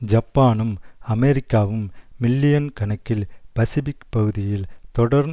ஜப்பானும் அமெரிக்காவும் மில்லியன் கணக்கில் பசிபிக் பகுதியில் தொடர்